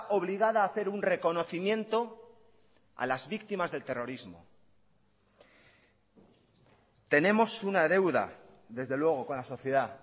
obligada a hacer un reconocimiento a las víctimas del terrorismo tenemos una deuda desde luego con la sociedad